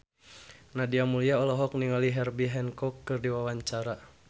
Nadia Mulya olohok ningali Herbie Hancock keur diwawancara